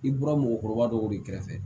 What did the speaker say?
I bɔra mɔgɔkɔrɔba dɔw de kɛrɛfɛ